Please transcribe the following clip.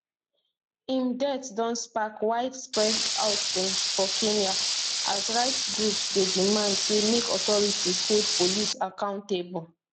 im death don spark widespread outrage for kenya as rights groups dey demand say make authorities hold police accountable